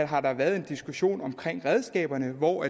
har været en diskussion om redskaberne hvor